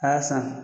A y'a san